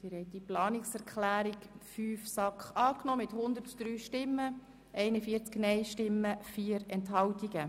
Sie haben die Planungserklärung 8 der SAK angenommen mit 145 Ja-, 0 Nein-Stimmen bei 2 Enthaltungen.